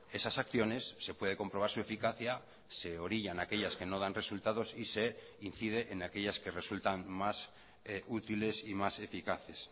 esas acciones se puede comprobar su eficacia se orillan aquellas que no dan resultados y se incide en aquellas que resultan más útiles y más eficaces